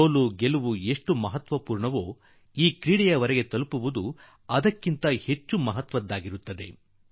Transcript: ಸೋಲು ಗೆಲುವು ಎಷ್ಟು ಮಹತ್ವಪೂರ್ಣವೋ ಆದರೆ ಅದರ ಜೊತೆಯಲ್ಲೇ ಈ ಸ್ಪರ್ಧೆಯ ಮಟ್ಟ ತಲುಪುವುದು ಕೂಡಾ ಅದಕ್ಕಿಂತ ಹೆಚ್ಚು ಮಹತ್ವಪೂರ್ಣ